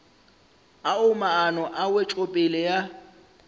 ao maano a wetšopele ya